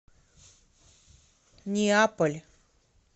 неаполь